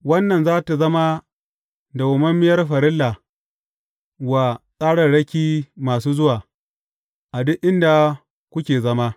Wannan za tă zama dawwammamiyar farilla wa tsararraki masu zuwa, a duk inda kuke zama.